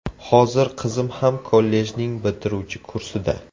Hozir qizim ham kollejning bitiruvchi kursida.